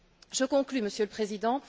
Je conclus, Monsieur le Président.